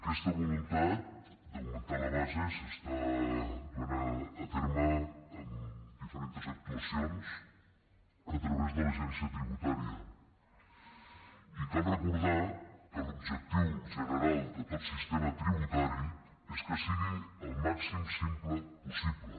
aquesta voluntat d’augmentar ne la base s’està duent a terme amb diferents actuacions a través de l’agència tributària i cal recordar que l’objectiu general de tot sistema tributari és que sigui el màxim de simple possible